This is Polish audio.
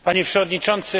Panie Przewodniczący!